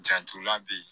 Janton lan beyi